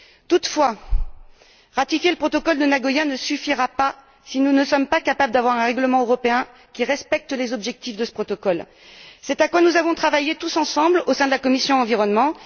Toutefois, ratifier le protocole de Nagoya ne suffira pas si nous ne sommes pas capables de nous doter d'un règlement européen qui respecte les objectifs de ce protocole. C'est ce à quoi nous avons travaillé tous ensemble au sein de la commission de l'environnement.